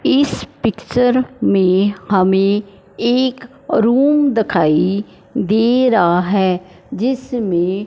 इस पिक्चर में हमें एक रूम दखाई दे रहा है जिसमें--